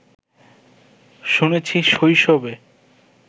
শুনেছি শৈশবে